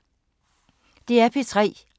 DR P3